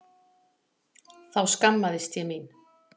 Þá skammaðist ég mín.